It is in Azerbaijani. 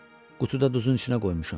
Qutuda duzun içinə qoymuşam.